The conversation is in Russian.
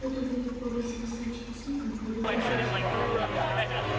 до того как попасть к красавчику смиту он ходил в упряжке